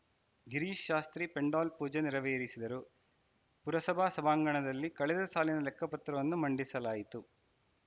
ಗಿರೀಶ್‌ ಶಾಸ್ತ್ರೀ ಪೆಂಡಾಲ್‌ ಪೂಜೆ ನೆರವೇರಿಸಿದರು ಪುರಸಭಾ ಸಭಾಂಗಣದಲ್ಲಿ ಕಳೆದ ಸಾಲಿನ ಲೆಕ್ಕಪತ್ರವನ್ನು ಮಂಡಿಸಲಾಯಿತು